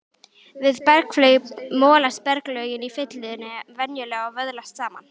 Við berghlaup molast berglögin í fyllunni venjulega og vöðlast saman.